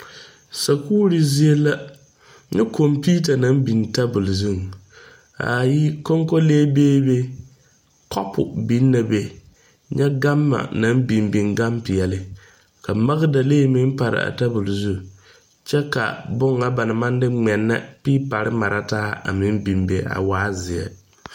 Sakuure zie la. Nyɛ komputa na biŋ tabul zuŋ. Ar yi, konkole beɛ be, kapu biŋ na be. Nyɛ gama na biŋ biŋ gane piɛle. Ka makdalee meŋ pare a tabul zu. Kyɛ ka boŋ na ba na maŋ de ŋmɛnɛ piipare mara taa a meŋ biŋ be a waa zie.